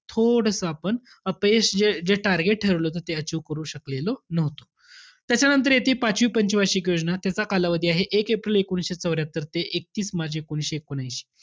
थोडंसं आपण अपयश, जे जे target ठरवलं होतं ते achieve करू शकलेलो नव्हतो. त्याच्यानंतर येते पाचवी पंच वार्षिक योजना, त्याचा कालावधी आहे, एक एप्रिल एकोणीसशे चौर्यात्तर ते एकतीस मार्च एकोणीसशे एकोणऐंशी.